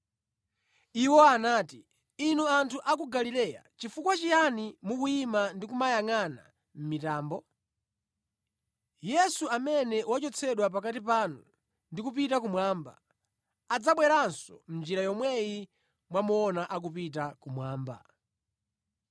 Iwo anati, “Inu, anthu a ku Galileya, chifukwa chiyani mukuyima ndi kumayangʼana mʼmitambo? Yesu amene wachotsedwa pakati panu ndi kupita kumwamba, adzabweranso mʼnjira yomweyi mwamuona akupita kumwamba.”